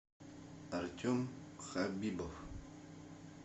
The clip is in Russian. артем хабибов